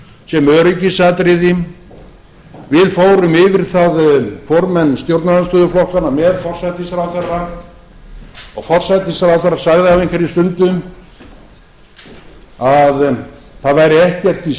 sem öryggisatriði við fórum yfir það formenn stjórnarandstöðuflokkanna með forsætisráðherra og forsætisráðherra sagði á einhverri stundu að það væri ekkert í